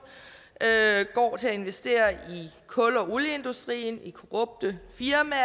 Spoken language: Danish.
går til at investere i kul og olieindustrien i korrupte firmaer